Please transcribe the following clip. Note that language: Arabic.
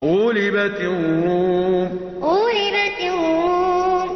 غُلِبَتِ الرُّومُ غُلِبَتِ الرُّومُ